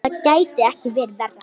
Það gæti ekki verið verra.